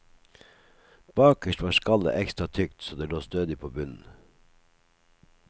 Bakerst var skallet ekstra tykt så det lå stødig på bunnen.